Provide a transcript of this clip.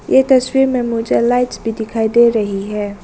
ये तस्वीर में मुझे लाइट्स भी दिखाई दे रही है।